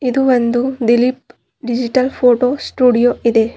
ಇದು ಒಂದು Dilip digital photo studio ಇದೆ.